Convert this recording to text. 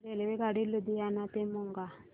रेल्वेगाडी लुधियाना ते मोगा